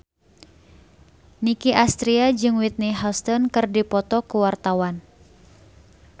Nicky Astria jeung Whitney Houston keur dipoto ku wartawan